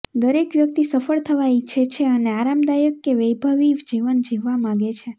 દરેક વ્યક્તિ સફળ થવા ઇચ્છે છે અને આરામદાયક કે વૈભવી જીવન જીવવા માગે છે